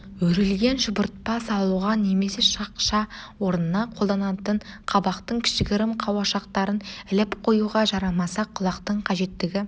өрілген шұбыртпа салуға немесе шақша орнына қолданатын қабақтың кішігірім қауашақтарын іліп қоюға жарамаса құлақтың қажеттігі